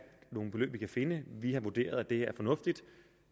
nogle beløb vi kan finde vi har vurderet at det er fornuftigt